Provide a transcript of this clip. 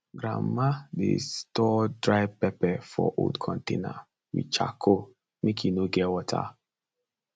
grandma dey store dry pepper for old container with charcoal make e no get water